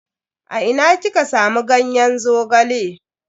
A ina kika samu ganyen Zogale?